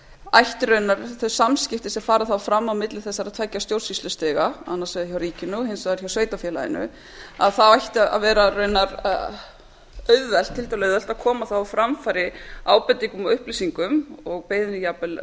ætti í rauninni þau samskipti sem fara þá fram á milli þessara tveggja stjórnsýslustiga annars vegar hjá ríkinu og hins vegar hjá sveitarfélaginu þá ætti að vera tiltölulega auðvelt að koma á framfæri ábendingum og upplýsingum og biðja jafnvel